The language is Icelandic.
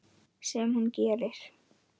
Sem hún gerir.